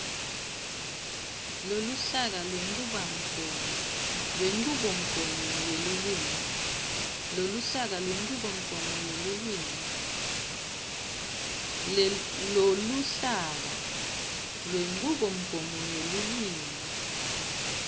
loluhlaka lwenchubomgomo yelulwimi